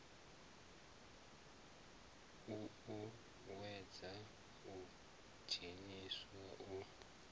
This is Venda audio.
u uuwedzwa u dzheniswa u